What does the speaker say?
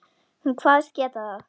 Hún kvaðst geta það.